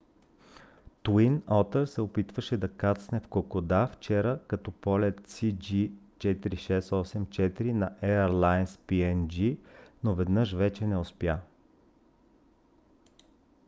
twin otter се опитваше да кацне в кокода вчера като полет cg4684 на airlines png но веднъж вече не успя